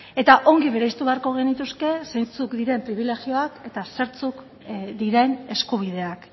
eta ongi bereiztu beharko genituzke zeintzuk diren pribilegioak eta zertzuk diren eskubideak